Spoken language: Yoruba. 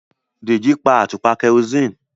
Deji pa atupa kerosene.